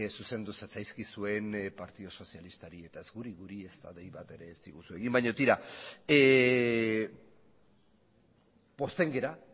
zuzendu zatzaizkizuen partidu sozialistari eta ez guri guri ezta dei bat ere ez diguzu egin baino tira pozten gara